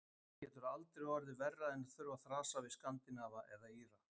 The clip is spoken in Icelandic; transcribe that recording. Það getur aldrei orðið verra en þurfa að þrasa við Skandinava eða Íra.